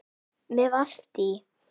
Með Valtý